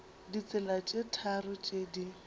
ditsela tše tharo tše di